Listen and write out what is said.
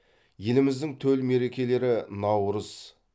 еліміздің төл мерекелері наурыз